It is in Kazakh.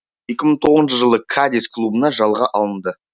екі мың тоғызыншы жылы кадис клубына жалға алынды